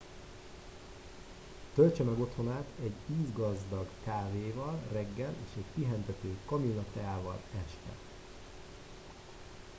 töltse meg otthonát egy ízgazdag kávéval reggel és egy pihentető kamillateával este